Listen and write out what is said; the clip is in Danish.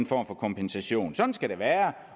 for kompensation sådan skal det være